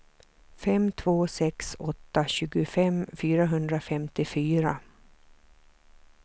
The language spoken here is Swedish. fem två sex åtta tjugofem fyrahundrafemtiofyra